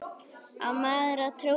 Á maður að trúa því?